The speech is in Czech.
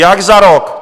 Jak za rok?